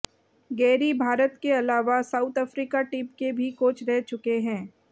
Gary Bharat के अलावा South Africa team के भी कोच रहे चुके हैं